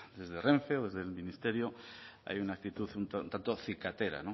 desde renfe o desde el ministerio hay una actitud un tanto cicatera